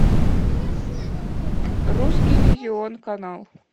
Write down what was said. русский иллюзион канал